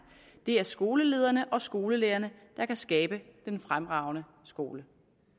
det er skolelederne og skolelærerne der kan skabe den fremragende skole